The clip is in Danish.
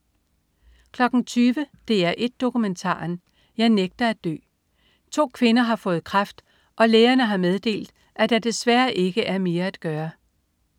20.00 DR1 Dokumentaren. Jeg nægter at dø. To kvinder har fået kræft, og lægerne har meddelt, at der desværre ikke er mere at gøre